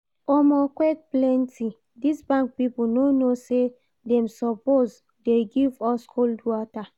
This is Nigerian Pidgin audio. Omo, queue plenty, this bank people no know say dem suppose dey give us cold water